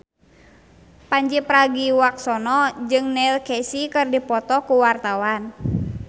Pandji Pragiwaksono jeung Neil Casey keur dipoto ku wartawan